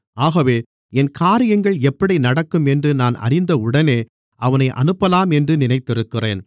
ஆகவே என் காரியங்கள் எப்படி நடக்கும் என்று நான் அறிந்தவுடனே அவனை அனுப்பலாம் என்று நினைத்திருக்கிறேன்